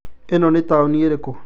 Ĩno ni taoni ĩrĩkũ